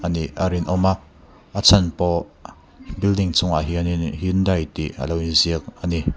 anih a rinawm a a chhan pawh building chung ah hyundai tih alo inziak ani.